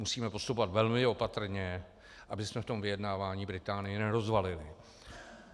Musíme postupovat velmi opatrně, abychom v tom vyjednávání Británii nerozvalili.